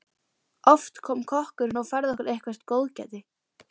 Oft kom kokkurinn og færði okkur eitthvert góðgæti.